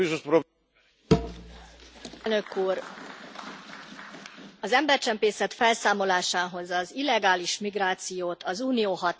Elnök Úr! Az embercsempészet felszámolásához az illegális migrációt az Unió határain kívül kell megállítani.